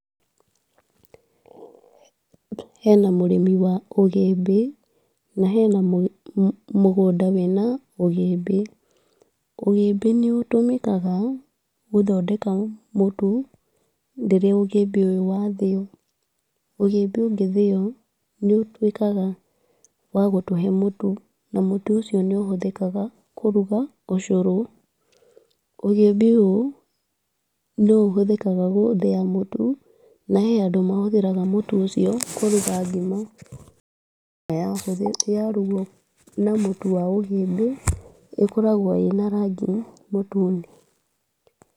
Hena mũrĩmi wa ũgĩmbĩ, na hena mũgũnda wĩna ũgĩmbĩ, ũgĩmbĩ nĩ ũtũmĩkaga gũthondeka mũtu rĩrĩa ũgũmbĩ ũyũ wathĩo, ũgũmbĩ ũngĩthĩo nĩ ũtuĩkaga wa gũtũhe mũtu, na mũtu ũcio nĩ ũhũthĩkaga kũruga ũcũrũ, ũgũmbĩ ũyũ nĩ ũhũthĩkaga gũthĩa mũtu, na he andũ mahũthĩraga mũtu ũcio kũruga ngima, na yarugwo na mũtu wa ũgĩmbĩ, ĩkoragwo ĩna rangi mũtune.